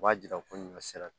U b'a jira ko ɲɔ sera